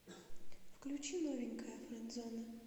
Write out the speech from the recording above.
включи новенькая френдзоны